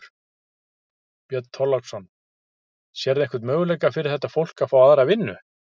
Björn Þorláksson: Sérðu einhvern möguleika fyrir þetta fólk að fá aðra vinnu?